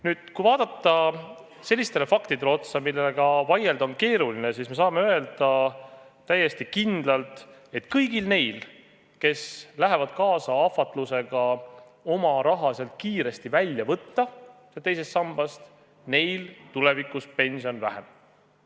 Nüüd, kui vaadata otsa sellistele faktidele, millega vaielda on keeruline, siis me saame täiesti kindlalt öelda, et kõigil neil, kes lähevad kaasa ahvatlusega oma raha teisest sambast kiiresti välja võtta, tulevikus pension väheneb.